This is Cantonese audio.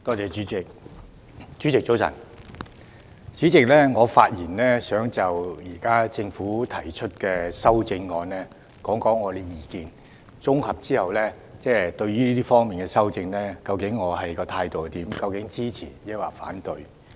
我想就現在政府對《2019年稅務條例草案》提出的修正案提出我的綜合意見，說明究竟我對這方面的修訂的態度是支持還是反對。